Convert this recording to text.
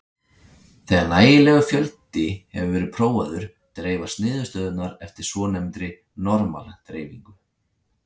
Þegar nægilegur fjöldi hefur verið prófaður dreifast niðurstöðurnar eftir svonefndri normal-dreifingu.